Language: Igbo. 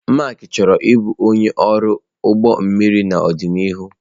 Mark chọrọ ịbụ onye ọrụ ụgbọ mmiri n'ọdịnihu.